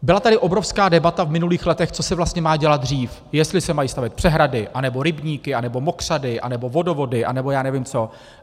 Byla tady obrovská debata v minulých letech, co se vlastně má dělat dřív, jestli se mají stavět přehrady, anebo rybníky, anebo mokřady, anebo vodovody, anebo já nevím co.